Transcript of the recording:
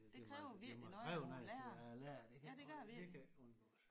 Det må altså det må kræve noget af sådan en lærer det kan jeg godt det kan ikke undgås